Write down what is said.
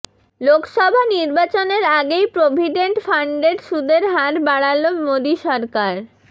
লোকসভা নির্বাচনের আগেই প্রভিডেন্ট ফান্ডের সুদের হার বাড়ালো মোদী সরকার